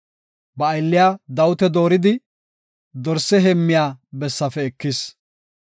Ba aylliya Dawita dooridi, dorse heemmiya bessaafe ekis.